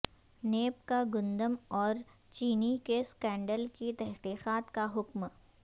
NAB کا گندم اور چینی کے سکینڈل کی تحقیقات کا حکم